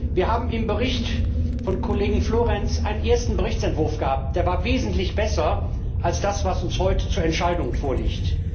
Wir hatten mit dem Bericht des Kollegen Florenz einen ersten Berichtsentwurf, der wesentlich besser war als das, was uns heute zur Entscheidung vorliegt.